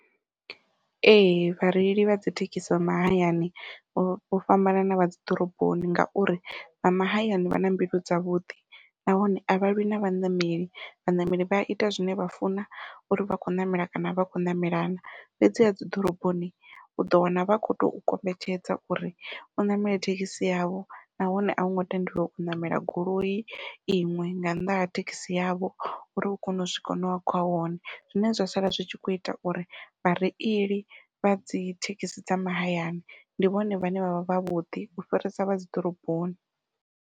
Ee vhareili vha dzi thekhisi dza mahayani vho vho fhambanana vha dzi ḓoroboni, ngauri vha mahayani vha na mbilu dza vhuḓi nahone a vha lwi na vhaṋameli vhaṋameli vha ita zwine vha funa uri vha khou ṋamela kana vha khou ṋamela na, fhedzi ha dzi ḓoroboni uḓo wana vha khou tou kombetshedza uri u ṋamele thekhisi yavho nahone au ngo tendelwa u ṋamela goloi iṅwe nga nnḓa ha thekhisi yavho uri u kone u swika hune wa khoya hone zwine zwa sala zwi tshi kho ita uri vhareili vha dzi thekhisi dza mahayani ndi vhone vhane vha vha vha vhuḓi u fhirisa vha dzi ḓoroboni.